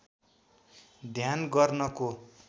ध्यान गर्नको